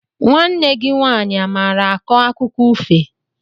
Nwanne gị nwaanyị amaara akọ akụkọ ifo?